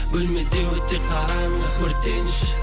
бөлмеде өте қараңғы өртенші